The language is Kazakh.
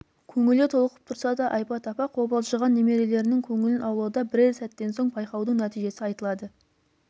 көңілі толқып тұрса да айбат апа қобалжыған немерелерінің көңілін аулауда бірер сәттен соң байқаудың нәтижесі айтылады